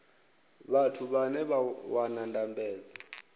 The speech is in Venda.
vhathu vhane vha wana ndambedzo